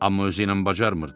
Amma özü ilə bacarmırdı.